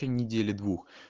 недели